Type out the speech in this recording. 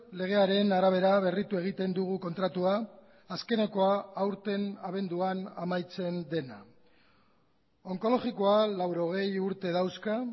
legearen arabera berritu egiten dugu kontratua azkenekoa aurten abenduan amaitzen dena onkologikoa laurogei urte dauzka